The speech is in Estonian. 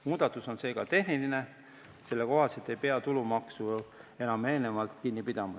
Muudatus on seega tehniline, selle kohaselt ei pea tulumaksu enam eelnevalt kinni pidama.